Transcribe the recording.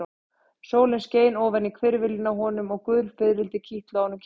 Sólin skein ofan á hvirfilinn á honum og gul fiðrildi kitluðu á honum kinnarnar.